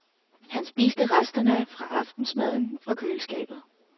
Han spiste resterne af aftensmaden fra køleskabet.